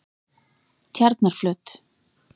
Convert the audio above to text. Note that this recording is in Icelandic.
Tjarnarflöt